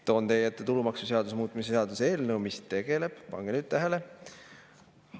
Toon teie ette tulumaksuseaduse muutmise seaduse eelnõu, mis tegeleb – pange nüüd tähele!